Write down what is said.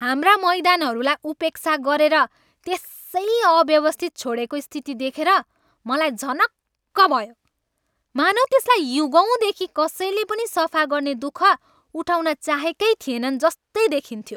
हाम्रा मैदानहरूलाई उपेक्षा गरेर त्यसै अव्यवस्थित छोडेको स्थिति देखेर मलाई झनक्क भयो। मानौँ त्यसलाई युगौँदेखि कसैले पनि सफा गर्ने दुख उठाउन चाहेकै थिएनन् जस्तै देखिन्थ्यो।